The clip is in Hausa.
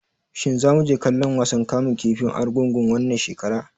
Shin zamu je kallon wasan kamun kifin Argungu wannan shekara?